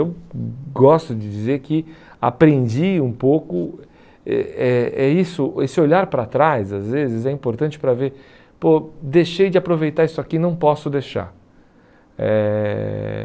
Eu gosto de dizer que aprendi um pouco, é é é isso, esse olhar para trás às vezes é importante para ver, pô, deixei de aproveitar isso aqui, não posso deixar. Eh